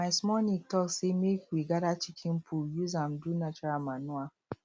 my small niece talk say make we gather chicken poo use am do natural manure